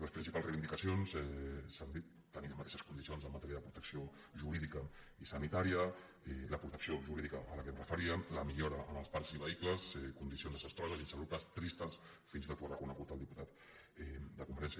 les principals reivindicacions s’han dit tenir les mateixes condicions en matèria de protecció jurídica i sanitària la protecció jurídica a la qual em referia la millora en els parcs i vehicles condicions desastroses i insalubres tristes fins i tot ho ha reconegut el diputat de convergència